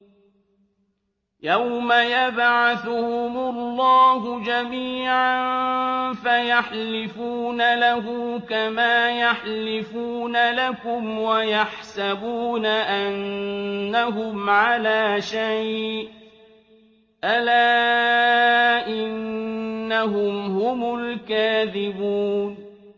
يَوْمَ يَبْعَثُهُمُ اللَّهُ جَمِيعًا فَيَحْلِفُونَ لَهُ كَمَا يَحْلِفُونَ لَكُمْ ۖ وَيَحْسَبُونَ أَنَّهُمْ عَلَىٰ شَيْءٍ ۚ أَلَا إِنَّهُمْ هُمُ الْكَاذِبُونَ